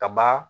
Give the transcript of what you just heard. Kaba